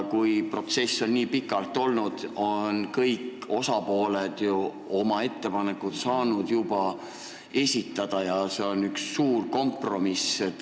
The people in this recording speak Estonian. Kui protsess on nii pikalt kestnud, siis on kõik osapooled juba saanud oma ettepanekud esitada ja see on üks suur kompromiss.